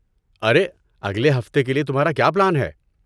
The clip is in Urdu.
ارے، اگلے ہفتے کے لیے تمہارا کیا پلان ہے؟